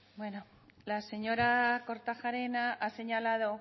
bueno la señora kortajarena ha señalado